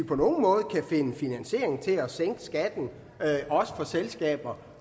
på nogen måde kan finde finansiering til at sænke skatten også for selskaber